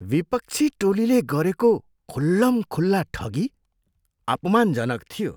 विपक्षी टोलीले गरेको खुल्लमखुल्ला ठगी अपमानजनक थियो।